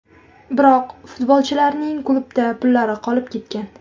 Biroq futbolchilarning klubda pullari qolib ketgan.